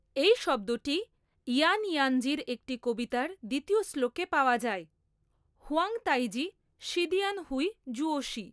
এই শব্দটি ইয়ান ইয়ানজির একটি কবিতার দ্বিতীয় শ্লোকে পাওয়া যায়ঃ Huang Taiji Shidian Hui Zuoshi.